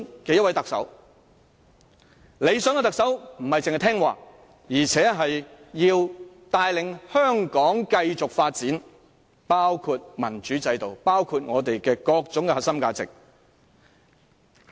理想的特首人選並不應只是聽話，還要帶領香港繼續發展，包括民主制度、香港各種核心價值的進展。